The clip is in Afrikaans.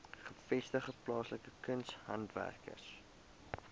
gevestigde plaaslike kunshandwerkers